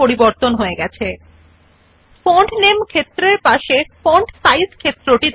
liberation Sans জন্য অনুসন্ধান করুন এবং এটি কেবল ক্লিক করুন Search for Liberation Sans and simply click on it